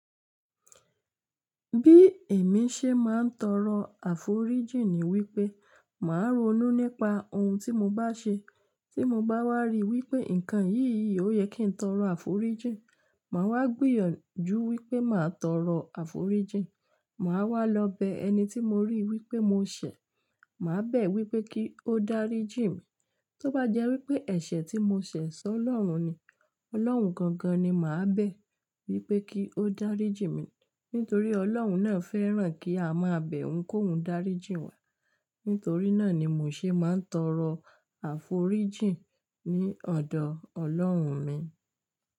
Bí èmi ṣe máa ń tọrọ àforíjìn ni wípé màá ronú nípa ohun tí mo bá ṣe tí mo bá wá rí wípé ǹkan yìí ò yẹ kí ń tọrọ àforíjìn, màá wá gbìyànjú wípé màá tọrọ àforíjìn. Màá wá lọ bẹ ẹni tí mo rí wípé mo ṣẹ̀, màá bẹ̀ wípé kí ó dáríjì mí. Tóbá jẹ́ wípé ẹ̀ṣẹ̀ tí mo ṣẹ̀ sọ́ Ọlọ́run ni, Ọlọ́run gangan ni màá bẹ̀ wípé kí ó dáríjì mí. Nítorí Ọlọ́run náà fẹ́ràn kí a máa bẹ̀ òun kóun dáríjì wá. Nítorí náà ni mo ṣe maa n tọrọ àforíjìn ni ọdọ Ọlọrun mi.